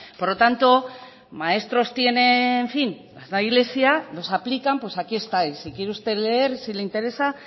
por lo tanto maestros tiene en fin los aplican pues aquí está y si quiere usted leer si le interesa